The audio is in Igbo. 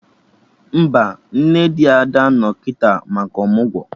Mba, nne di Ada no kịta maka ọmụgwọ